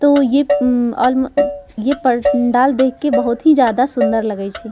तो ये मम ये पं डाल देख के बहुत ही ज्यादा सुन्दर लगे छी।